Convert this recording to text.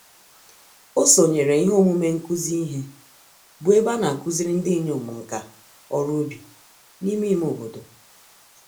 O sonyere ihe omume nkụzi ìhè, bụ ébé anakuziri ndinyom nka-oru-ubi, n'ime ime obodo.